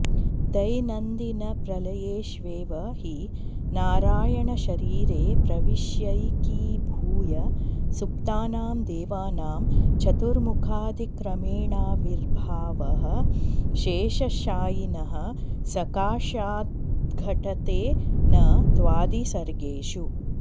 दैनन्दिनप्रलयेष्वेव हि नारायणशरीरे प्रविश्यैकीभूय सुप्तानां देवानां चतुर्मुखादिक्रमेणाविर्भावः शेषशायिनः सकाशाद्घटते न त्वादिसर्गेषु